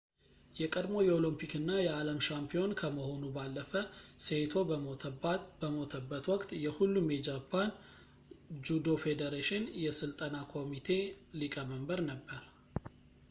የቀድሞው የኦሎምፒክ እና የዓለም ሻምፒዮን ከመሆኑ ባለፈ ሴይቶ በሞተበት ወቅት የሁሉም የጃፓን ጁዶ ፌዴሬሽን የሥልጠና ኮሚቴ ሊቀ መንበር ነበር